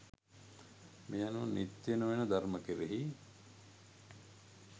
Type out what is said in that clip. මේ අනුව නිත්‍ය නොවන ධර්ම කෙරෙහි